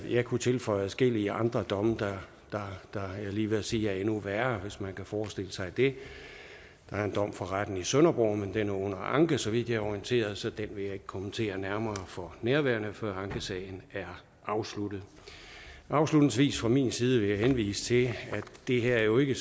jeg kunne tilføje adskillige andre domme der var jeg lige ved at sige er endnu værre hvis man kan forestille sig det der er en dom fra retten i sønderborg men den er under anke så vidt jeg er orienteret så den vil jeg ikke kommentere nærmere for nærværende før ankesagen er afsluttet afslutningsvis fra min side vil jeg henvise til at det her jo ikke